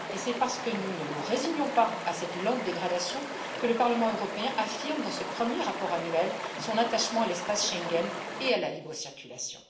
C'est parce que nous ne nous résignons pas à cette lente dégradation que le Parlement européen affirme dans ce premier rapport annuel son attachement à l'espace Schengen et à la libre circulation.